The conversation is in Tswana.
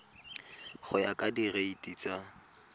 go ya ka direiti tsa